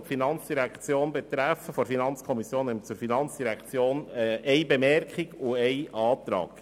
Seitens der FiKo haben wir zu den Vorstössen, die die FIN betreffen, eine Bemerkung und einen Antrag.